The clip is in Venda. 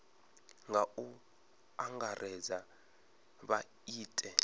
nga u angaredza vha ite